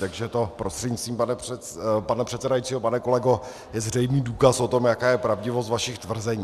Takže to, prostřednictvím pana předsedajícího pane kolego, je zřejmý důkaz o tom, jaká je pravdivost vašich tvrzení.